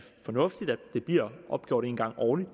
fornuftigt at det bliver opgjort en gang årligt